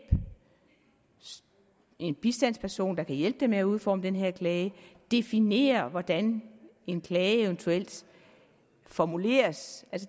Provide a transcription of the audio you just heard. en bistandsperson der kan hjælpe dem med at udforme den her klage og definere hvordan en klage eventuelt formuleres